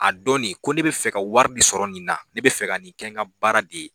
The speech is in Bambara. A dɔn de ko ne bɛ fɛ ka wari de sɔrɔ nin na ne bɛ fɛ ka nin kɛ n ka baara de ye